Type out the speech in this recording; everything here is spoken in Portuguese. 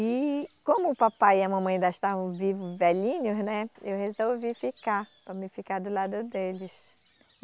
E como o papai e a mamãe ainda estavam vivos, velhinhos, né, eu resolvi ficar, para mim ficar do lado deles.